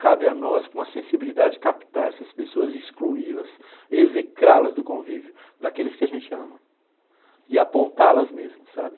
Cabe a nós, com a sensibilidade, captar essas pessoas, excluí-las, execrá-las do convívio, daqueles que a gente ama, e apontá-las mesmo, sabe?